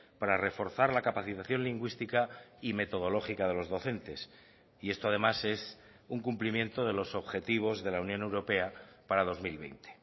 para reforzar la capacitación lingüística y metodológica de los docentes y esto además es un cumplimiento de los objetivos de la unión europea para dos mil veinte